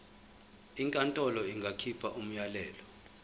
inkantolo ingakhipha umyalelo